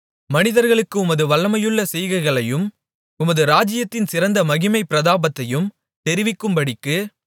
மனிதர்களுக்கு உமது வல்லமையுள்ள செய்கைகளையும் உமது ராஜ்ஜியத்தின் சிறந்த மகிமைப்பிரதாபத்தையும் தெரிவிக்கும்படிக்கு